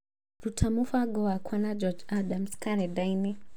ruta mũbango wakwa na George Adams karenda-inĩ